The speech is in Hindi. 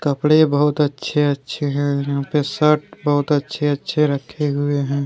कपड़े बहुत अच्छे-अच्छे हैं यहां पे शर्ट बहुत अच्छे-अच्छे रखे हुए हैं।